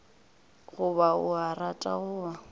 goba o a rata goba